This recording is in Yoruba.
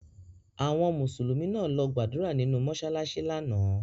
Àwọn Mùsùlùmí náà lọ gbàdúrà nìnu mọsalasi lánàá.